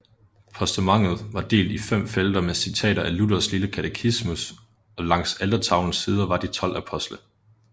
Postamentet var delt i fem felter med citater af Luthers lille katetismus og langs altertavlens sider var de 12 apostle